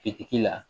Fitigi la